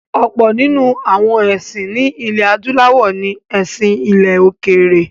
Ọ̀pọ̀ nínú àwọn ẹ̀sìn ní ilẹ̀-adúláwọ̀ ní “ẹ̀sìn ilẹ̀-òkèèrè”.